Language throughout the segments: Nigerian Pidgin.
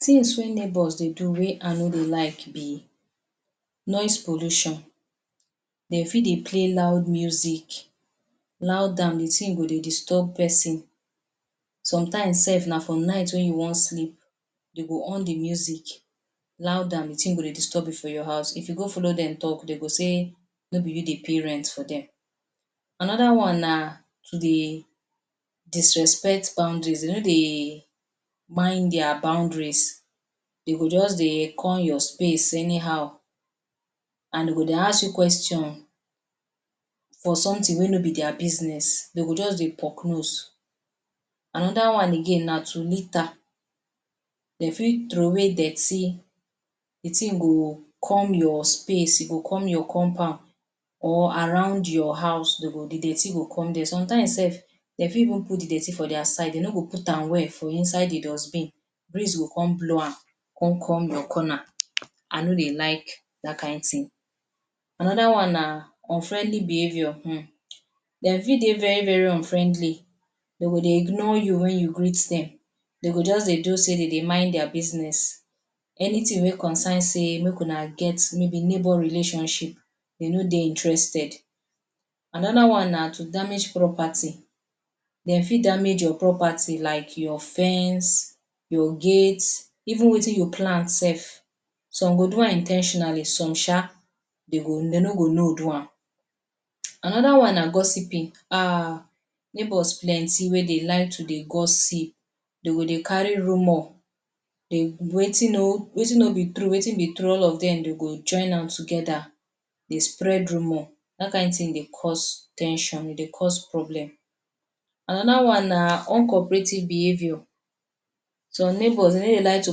Things wey neighbours dey do wey I no dey like be noise pollution, dey fit dey play loud music loud am de thing go dey disturb person. Sometimes sef na for night wey you wan sleep, dey go on de music loud am de thing go dey disturb you for your house if you go follow dem talk, dey go sey no be you dey pay rent for dem. Another one na to dey disrespect boundaries, dey no dey mind their boundaries dey go just dey come your space anyhow and dem go dey ask you question for something wey no be their business, dey go just dey poke nose. Another one again na to litter, dem fit throwaway dirty de thing go come your space e go come your compound or around your house dey go de dirty go come there. Sometimes sef dey fit even put de dirty for their side. Dey no go put am well for inside de dustbin. Breeze go come blow am con come your corner, I no dey like dat kain thing. Another one na unfriendly behaviour um, dey fit dey very very unfriendly. Dem go dey ignore you wen you greet dem, dem go just dey do sey dey mind their business. Anything wey concerns sey make una get maybe neighbour relationship dey no dey interested. Another one na to damage property, dey fit damage your property like your fence, your gate even wetin you plant sef. Some go do am in ten tionally some sha dey go, dey no go know do am. Another one na gossiping, um neighbours plenty wey dey like to gossip, dey go dey carry rumour,? Wetin no, wetin no be true wetin be true all of dem dey go join am together dey spread rumour dat kain thing dey cause ten sion, e dey cause problem. Another one na uncooperative behaviour, some neighbor dey no dey like to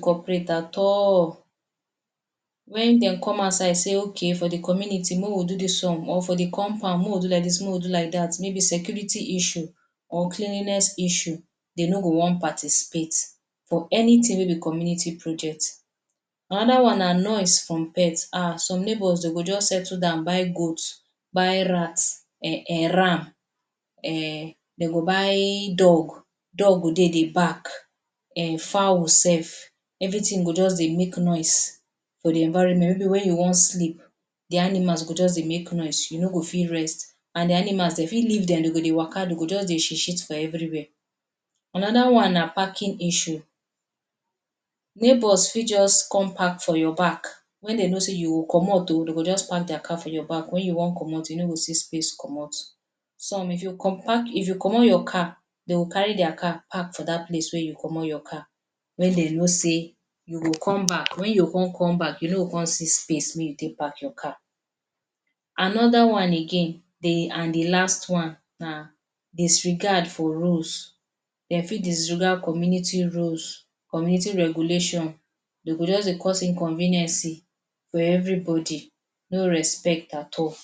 cooperate at all, wen dem come outside say okay for de community make we do dis one or for di compound make we do like dis, make we do like dat maybe security issue or cleanliness issue dey no go want participate for anything wey be community project. Another one na noise from pet,[um] some neighbours dey go just settle down buy goat, buy rat um ram, um dem go buy dog, dog go dey dey bark, fowl sef everything go just dey make noise for di environment? Maybe Wen you want sleep de animals go just dey make noise yu no go fit rest and di animals dey fit leave dem dey go dey waka dey go just dey shit shit for everywhere. Another one na parking issue, neighbours fit just come park for your back wen dey know sey you go comot oo dey go just park dia car for your back wen you want comot you no go see space comot. Some if you? If you comot your car dey go carry dia car park for dat place wey you comot yor car wey dey know sey you go come back wen you go con come back you no go con see space wey you take park your car. Another one again and de last one na disregard for rules, dey fit disregard community rule, community regulation. Dey go just dey cause inconveniences for everybody no respect at all.